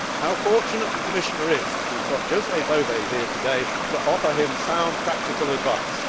How fortunate the Commissioner is that he has José Bové here today to offer him sound practical advice.